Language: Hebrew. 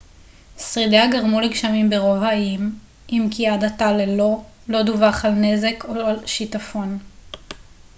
שרידיה גרמו לגשמים ברוב האיים אם כי עד עתה לא דווח על נזק או שיטפון